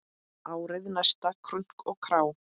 Árið næsta, krunk og krá!